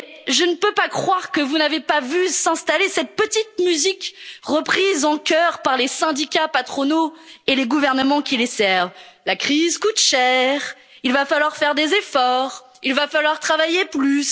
européens. Je ne peux pas croire que vous n'ayez pas vu s'installer cette petite musique, reprise en chœur par les syndicats patronaux et les gouvernements qui les servent la crise coûte cher, il va falloir faire des efforts, il va falloir travailler